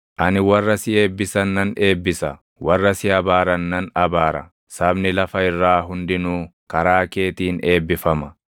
Ani warra si eebbisan nan eebbisa; warra si abaaran nan abaara; sabni lafa irraa hundinuu karaa keetiin eebbifama.”